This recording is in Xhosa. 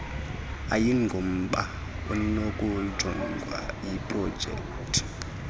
ayingomba unokujongwa yiprojekthi